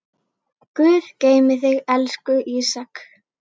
Guð geymi þig, elsku Ísak.